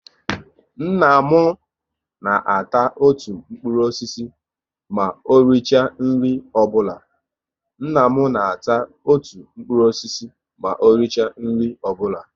Nna m na ata otu mkpụrụ osisi ma o richa nri ọbụla